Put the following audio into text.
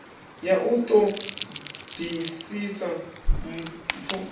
ya u ṱo ḓisisa mpfu